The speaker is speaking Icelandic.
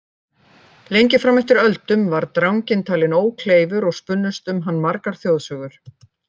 Lengi fram eftir öldum var dranginn talinn ókleifur og spunnust um hann margar þjóðsögur.